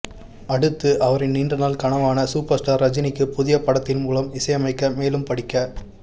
அடுத்து அவரின் நீண்டநாள் கனவான சூப்பர் ஸ்டார் ரஜினிக்கு புதிய படத்தின் மூலம் இசையமைக்க மேலும் படிக்க